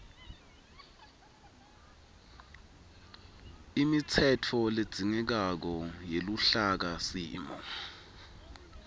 imitsetfo ledzingekako yeluhlakasimo